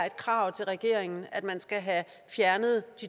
et krav til regeringen at